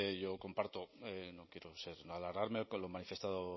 yo comparto no quiero alargarme lo manifestado